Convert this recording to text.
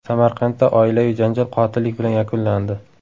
Samarqandda oilaviy janjal qotillik bilan yakunlandi.